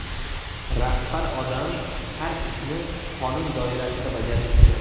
Rahbar odam har ishni qonun doirasida bajarishi kerak.